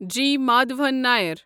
جی Madhavan نیر